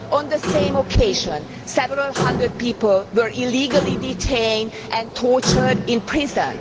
On the same occasion several hundred people were illegally detained and tortured in prison.